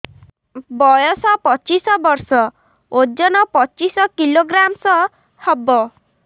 ବୟସ ପଚିଶ ବର୍ଷ ଓଜନ ପଚିଶ କିଲୋଗ୍ରାମସ ହବ